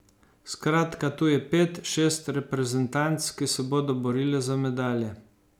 Skratka, tu je pet, šest reprezentanc, ki se bodo borile za medalje.